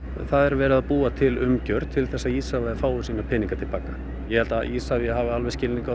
það er verið að búa til umgjörð til að Isavia fái sína peninga til baka ég held að Isavia hafi alveg skilning á